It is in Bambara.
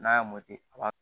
N'a y'a a b'a